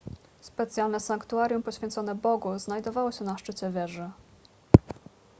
specjalne sanktuarium poświęcone bogu znajdowało się na szczycie wieży